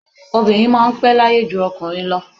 Obìnrin máa n pẹ́ láyé ju okùnrin lọ